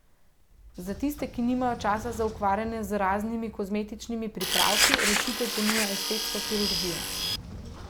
Za tiste, ki nimajo časa za ukvarjanje z raznimi kozmetičnimi pripravki, rešitev ponuja estetska kirurgija.